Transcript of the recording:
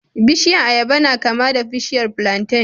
Bishiyar ayaba na kama da bishiyar plantain